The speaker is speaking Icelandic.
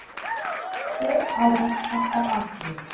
Tveir árekstrar á Akureyri